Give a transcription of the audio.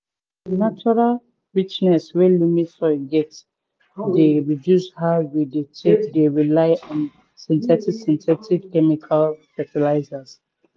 di natural richness wey loamy soil get dey reduce how we dey take dey rely on synthetic synthetic chemical fetilizers